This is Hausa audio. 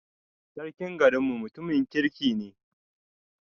Sarkim garin mu mutumin kirki ne